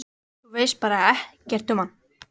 Þú veist bara ekkert um hann?